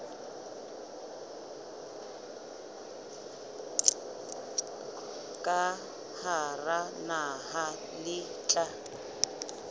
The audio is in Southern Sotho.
ka hara naha le tla